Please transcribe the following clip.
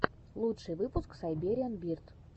лучший выпуск сайбериан бирд